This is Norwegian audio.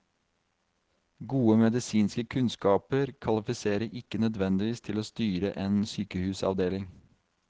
Gode medisinske kunnskaper kvalifiserer ikke nødvendigvis til å styre en sykehusavdeling.